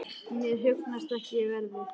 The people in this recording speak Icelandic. Mér hugnast ekki veðrið.